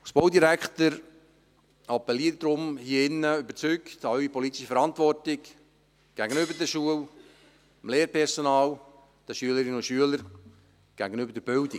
Als Baudirektor appelliere ich daher überzeugt an Ihre politische Verantwortung gegenüber der Schule, dem Lehrpersonal, den Schülerinnen und Schülern, gegenüber der Bildung.